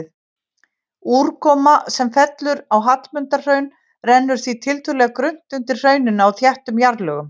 Úrkoma sem fellur á Hallmundarhraun rennur því tiltölulega grunnt undir hrauninu á þéttum jarðlögum.